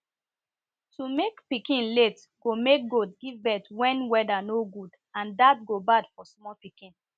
to make pikin late go make goat give birth when weather no good and dat go bad for small pikin